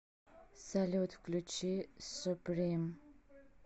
салют включи суприм